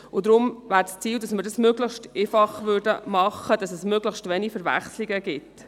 Deshalb wäre es das Ziel, es möglichst einfach zu gestalten, sodass es möglichst wenige Verwechslungen gibt.